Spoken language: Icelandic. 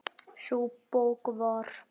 Sú bók var